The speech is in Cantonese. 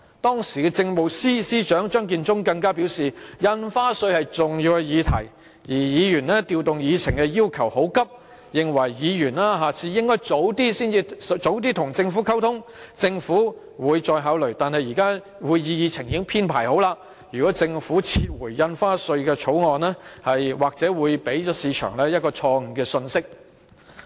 當時的政務司司長張建宗更表示，印花稅是重要議題，而議員調動議程的要求很急，認為議員下次應該提早與政府溝通，政府會再考慮，但現時會議議程已經編排好，如果政府撤回《條例草案》，或會給予市場錯誤信息。